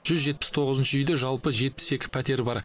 жүз жетпіс тоғызыншы үйде жалпы жетпіс екі пәтер бар